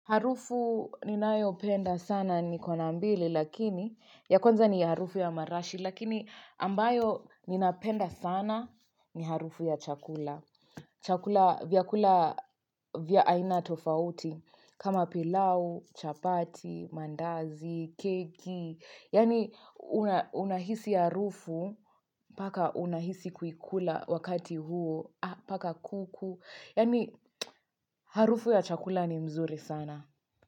Harufu ninayopenda sana nikona mbili lakini ya kwanza ni harufu ya marashi lakini ambayo ninapenda sana ni harufu ya chakula. Chakula vyakula vya aina tofauti kama pilau, chapati, mandazi, keki. Yaani unahisi harufu mpaka unahisi kukula wakati huo mpaka kuku. Yani harufu ya chakula ni mzuri sana.